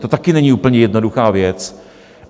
To taky není úplně jednoduchá věc.